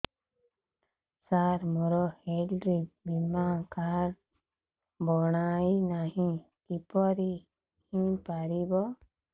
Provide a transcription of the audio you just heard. ସାର ମୋର ହେଲ୍ଥ ବୀମା କାର୍ଡ ବଣାଇନାହିଁ କିପରି ହୈ ପାରିବ